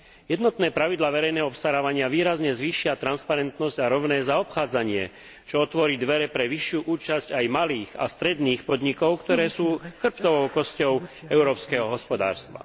Jednotné pravidlá verejného obstarávania výrazne zvýšia transparentnosť a rovné zaobchádzanie, čo otvorí dvere pre vyššiu účasť aj malých a stredných podnikov, ktoré sú chrbtovou kosťou európskeho hospodárstva.